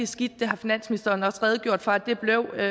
skidt det har finansministeren også redegjort for blev